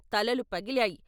తలలు పగిలాయి.